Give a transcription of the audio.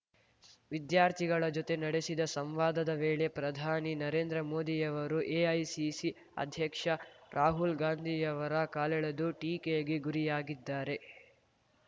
ವಿದ್ಯಾರ್ಥಿಗಳ ಜೊತೆ ನಡೆಸಿದ ಸಂವಾದದ ವೇಳೆ ಪ್ರಧಾನಿ ನರೇಂದ್ರ ಮೋದಿಯವರು ಎಐಸಿಸಿ ಅಧ್ಯಕ್ಷ ರಾಹುಲ್ ಗಾಂಧಿಯವರ ಕಾಲೆಳೆದು ಟೀಕೆಗೆ ಗುರಿಯಾಗಿದ್ದಾರೆ